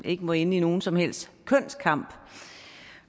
ikke må ende i nogen som helst kønskamp